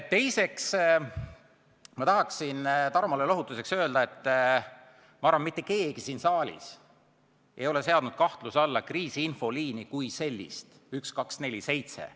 Teiseks, ma tahaksin Tarmole lohutuseks öelda, et ma arvan, mitte keegi siin saalis ei ole seadnud kahtluse alla kriisiinfoliini 1247 kui sellist.